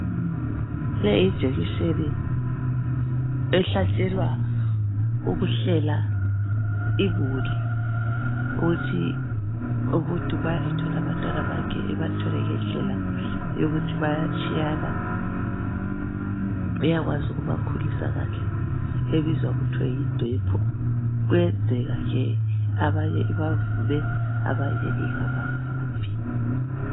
Leyi yijekiseni, ehlatshelwa ukuhlela imuli. Ukuthi umuntu ma ethola abantwana bakhe ebathole ngendlela yokuthi bayatshiyana. Uyakwazi ukubakhulisa kahle ebizwa kuthiwe yidepo. Kuyenzeka ke abanye ibavume abanye ingabavumi.